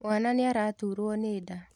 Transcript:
Mwana nĩaraturwo nĩ nda.